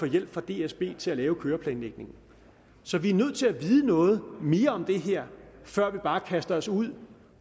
hjælp fra dsb til at lave køreplanlægningen så vi er nødt til at vide noget mere om det her før vi bare kaster os ud